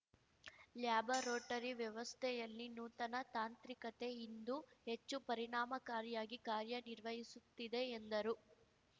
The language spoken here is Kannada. ಲ್ಯಾಬರೋಟರಿ ವ್ಯವಸ್ಥೆಯಲ್ಲಿ ನೂತನ ತಾಂತ್ರಿಕತೆ ಇಂದು ಹೆಚ್ಚು ಪರಿಣಾಮಕಾರಿಯಾಗಿ ಕಾರ್ಯನಿರ್ವಹಿಸುತ್ತಿದೆ ಎಂದರು